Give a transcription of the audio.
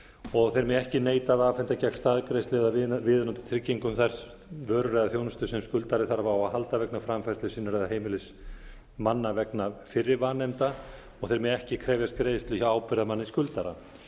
og þeir mega ekki neita að afhenda gegn staðgreiðslu eða viðeigandi tryggingum vörur eða þjónustu sem skuldari þarf á að halda vegna framfærslu sinnar eða heimilismanna vegna fyrri vanefnda og þeir mega ekki krefjast greiðslu hjá ábyrgðarmanni skuldara